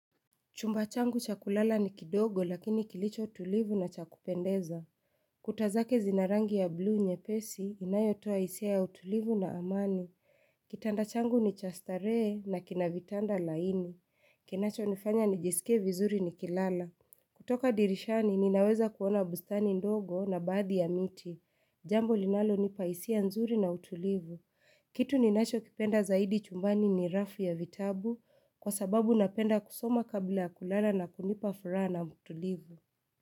Chumba changu chakulala ni kidogo lakini kilicho tulivu na chakupendeza. Kutazake zinarangi ya blue nye pesi inayotoa isia ya utulivu na amani. Kitanda changu ni cha starehe na kinavitanda laini. Kinacho nifanya nijisike vizuri nikilala. Kutoka dirishani ninaweza kuona bustani ndogo na baadhi ya miti. Jambo linalo nipaisia nzuri na utulivu. Kitu ninacho kipenda zaidi chumbani ni rafu ya vitabu. Kwa sababu napenda kusoma kabla kulala na kunipa furaha na utulivu.